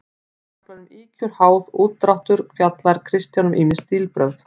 Í kaflanum Ýkjur, háð, úrdráttur fjallar Kristján um ýmis stílbrögð.